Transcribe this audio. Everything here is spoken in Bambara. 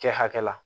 Kɛ hakɛ la